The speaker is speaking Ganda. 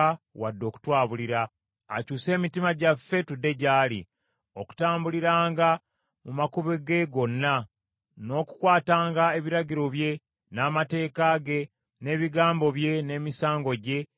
Akyuse emitima gyaffe tudde gyali, okutambuliranga mu makubo ge gonna, n’okukwatanga ebiragiro bye, n’amateeka ge, n’ebigambo bye n’emisango gye bye yawa bajjajjaffe.